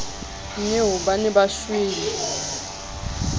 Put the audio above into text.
nnyeo ba ne ba shwele